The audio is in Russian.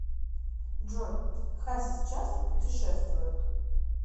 джой хасис часто путешествует